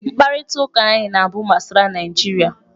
Mkparịta ụka anyị na-abụ gbasara Naịjirịa.